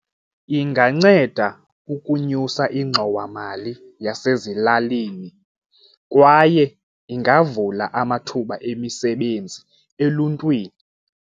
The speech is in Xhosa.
Inganceda ukunyusa ingxowamali yasezilalini kwaye ingavula amathuba emisebenzi eluntwini.